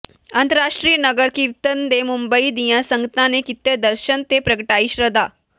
ਅੰਤਰਰਾਸ਼ਟਰੀ ਨਗਰ ਕੀਰਤਨ ਦੇ ਮੁੰਬਈ ਦੀਆਂ ਸੰਗਤਾਂ ਨੇ ਕੀਤੇ ਦਰਸ਼ਨ ਤੇ ਪ੍ਰਗਟਾਈ ਸ਼ਰਧਾ